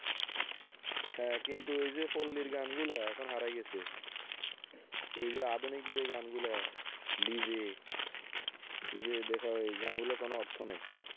হ্যাঁ কিন্তু ওই যে পল্লীর গানগুলো এখন হারাই গেছে, এই যে আধুনিক যেই গানগুলো হয়, DJ , এই যে দেখা ঐ~ গানগুলোর কোন অর্থ নেই.